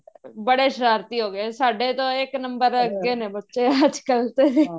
ਬੜੇ ਸਰਾਰਤੀ ਹੋਗੇ ਸਾਡੇ ਤੋ ਇੱਕ number ਅੱਗੇ ਨੇ ਬੱਚੇ ਅੱਜਕਲ ਤੇ